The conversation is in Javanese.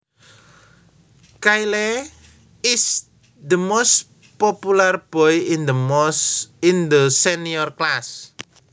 Kyle is the most popular boy in the senior class